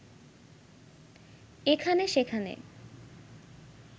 এখানে সেখানে